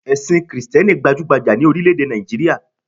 Èsìn krìsténi gbajúgbajà ni orílé èdè Nàìjíríà